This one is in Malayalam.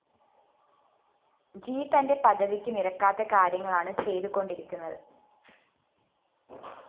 ജി തന്റെ പദവിക്ക് നിരക്കാത്ത കാര്യങ്ങളാണ് ചെയ്തു കൊണ്ടിരിക്കുന്നത്